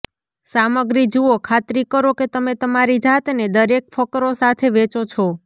સામગ્રી જુઓ ખાતરી કરો કે તમે તમારી જાતને દરેક ફકરો સાથે વેચો છો